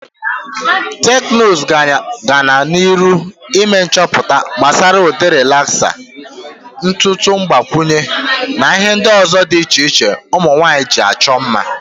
Teknuzu gana n"iru ime nchoputa gbasara ude relaksa, ntutu ngbakwunye na ihe ndi uzo di iche iche umunwanyi ji acho mma.